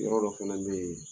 Yɔrɔ dɔ fana bɛ ye